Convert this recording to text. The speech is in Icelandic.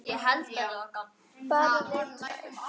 Bara við tvær.